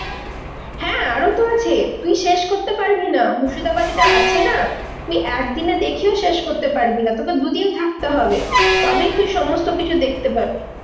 হ্যাঁ আরো তো আছে তুই শেষ করতে পারবি না, মুর্শিদাবাদে যা আছে না? তুই একদিনে দেখেও শেষ করতে পারবি না। তোকে দুদিন থাকতে হবে, তবেই তুই সমস্ত কিছু দেখতে পাবি।